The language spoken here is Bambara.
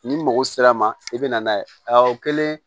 Ni mɔgɔ sera ma i bɛ na n'a ye a kɛlen